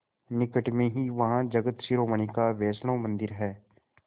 निकट में ही वहाँ जगत शिरोमणि का वैष्णव मंदिर है